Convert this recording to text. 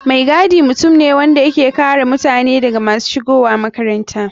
Mai gadi mutum ne wanda yake kare mutane daga masu shigowa makaranta.